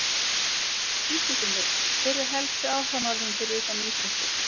Gísli Finnur Hver eru helstu áhugamál þín fyrir utan íþróttir?